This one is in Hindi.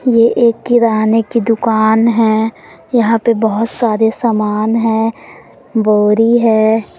ये एक किराने की दुकान है। यहां पे बहोत सारे सामान है बोरी है।